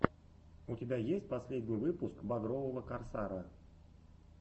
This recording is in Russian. у тебя есть последний выпуск багрового корсара